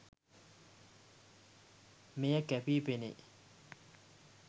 මෙය කැපී පෙනේ